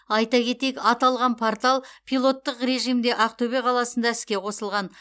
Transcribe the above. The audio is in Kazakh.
айта кетейік аталған портал пилоттық режимде ақтөбе қаласында іске қосылған